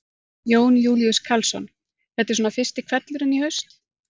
Jón Júlíus Karlsson: Þetta er svona fyrsti hvellurinn í haust?